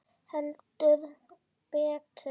Heldur betur!